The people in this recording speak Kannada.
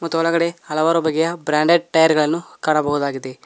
ಮತ್ತು ಒಳಗಡೆ ಹಲವಾರು ಬಗೆಯ ಬ್ರಾಂಡೆಡ್ ಟೈರ್ ಗಳನ್ನು ಕಾಣಬಹುದಾಗಿದೆ.